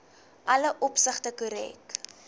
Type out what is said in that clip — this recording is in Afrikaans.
alle opsigte korrek